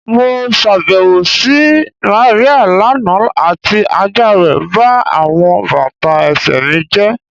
Mo ṣabẹwo si Maria lana ati aja rẹ ba awọn bata ẹsẹ mi jẹ